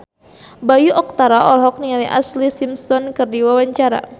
Bayu Octara olohok ningali Ashlee Simpson keur diwawancara